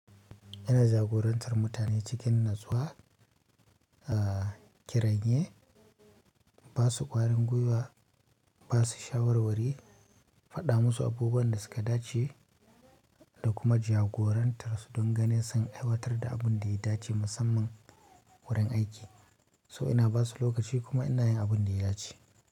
Ina jagorantar mutane cikin natsuwa, a kiranye, ba su ƙwarin gwiwa, ba su shawarwari, faɗa musu abubuwan da su ka dace da kuma jagorantar su dan ganin sun aiwatar da abun da ya dace musamman wurin aiki. To ina ba su lokaci kuma ina yin abun da ya dace.